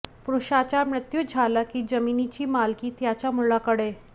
पुरुषाचा मृत्यू झाला कि जमिनीची मालकी त्याच्या मुलाकडे